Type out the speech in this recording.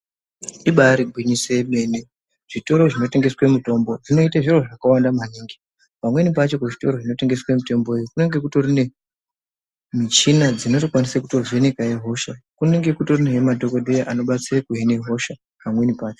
Ibaari gwinyiso yemene zvitoro zvinotengeswe mutombo zvinoite zviro zvakawanda maningi. Pamweni pacho kuzvitoro zvinotengese mitombo iyi kunenge kutori nemichina dzinotokwanise kutovhenekahe hosha. Kunenge kutorihe nemadhogodheya anobatsira kuhine hosha pamweni pacho.